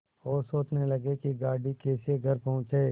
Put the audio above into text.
और सोचने लगे कि गाड़ी कैसे घर पहुँचे